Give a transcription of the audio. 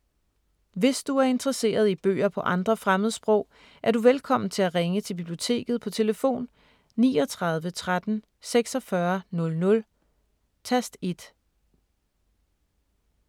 Hvis du er interesseret i bøger på andre fremmedsprog, er du velkommen til at ringe til Biblioteket på tlf. 39 13 46 00, tast 1.